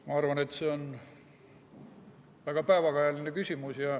Ma arvan, et see on väga päevakajaline küsimus.